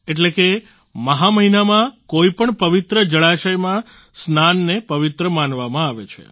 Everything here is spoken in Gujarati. એટલે કે મહા મહિનામા કોઈપણ પવિત્ર જળાશયમાં સ્નાનને પવિત્ર માનવામાં આવે છે